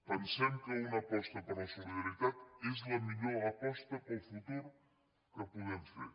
pensem que una aposta per la solidaritat és la millor aposta per al futur que podem fer